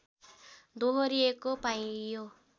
दोहोरिएको पाइयो